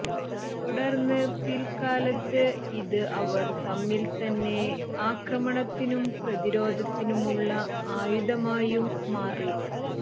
തുടർന്ന് പിൽക്കാലത്ത് ഇത് അവർക്കു തമ്മിൽത്തന്നെ ആക്രമണത്തിനും പ്രതിരോധത്തിനുമുള്ള ആയുധമായും മാറി